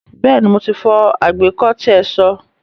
Bẹ́ẹ̀ni, mo ti fọ àgbékó tí ẹ so.